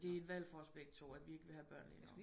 Det er et valg for os begge to at vi ikke vil have børn lige nu